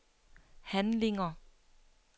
handlinger